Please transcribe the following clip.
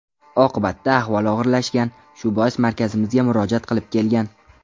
Oqibatda ahvoli og‘irlashgan, shu bois markazimizga murojaat qilib kelgan.